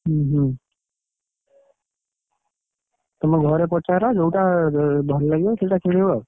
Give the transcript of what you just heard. ଉଁ ହୁଁ ତମେ ଘରେ ପଚାର, ଯୋଉଟା ଭଲ ଲାଗିବ, ସେଇଟା କିଣିବ ଆଉ,